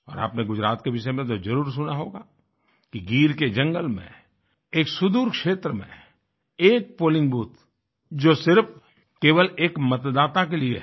और आपने गुजरात के विषय में तो जरुर सुना होगा कि गिर के जंगल में एक सुदूर क्षेत्र में एक पोलिंग बूथ जो सिर्फ केवल 1 मतदाता के लिए है